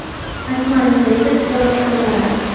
Akmal Saidov javob qaytaradi.